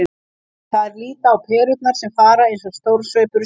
Þær líta á perurnar sem fara eins og stormsveipur um sviðið.